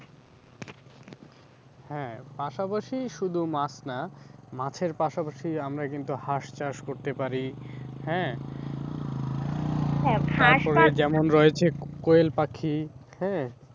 হ্যাঁ, পাশাপাশি শুধু মাছ না মাছের পাশাপাশি আমরা কিন্তু হাঁস চাষ করতে পারি, হ্যাঁ তারপরে যেমন রয়েছে কোয়েল পাখি হ্যাঁ।